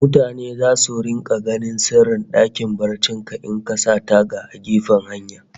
Mutane zasu rika ganin sirrin dakin barcin ka in ka sa taga a gefen hanya